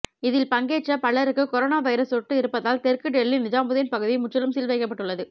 இதில் பங்கேற்ற பலருக்கு கரோனா வைரஸ் தொற்று இருப்பதால் தெற்கு டெல்லி நிஜாமுதீன் பகுதி முற்றிலும் சீல் வைக்கப்பட்டுள்ளது